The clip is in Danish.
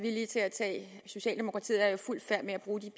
villig til at tage socialdemokratiet er jo i fuld færd med at bruge de